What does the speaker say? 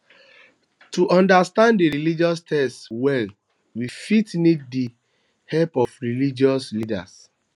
to understand di religious text well we fit need di help of religious leaders